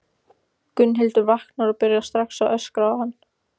Gunnhildur vaknar og byrjar strax að öskra á hann.